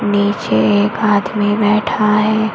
नीचे एक आदमी बैठा है।